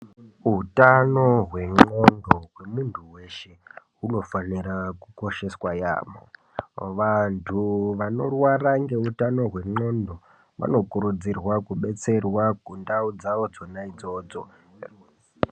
Hutano hendxondo hwemuntu veshe hunofanira kukosheswa yaamho. Vantu vanorwara ngeutano hwendxondo vanokurudzirwa kubetserwa kundau dzavo dzona idzodzo.